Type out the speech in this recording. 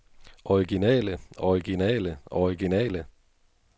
originale originale originale